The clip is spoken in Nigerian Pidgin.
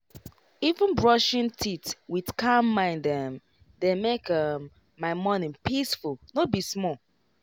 even brushing teeth with calm mind um dey make um my morning peaceful no be small.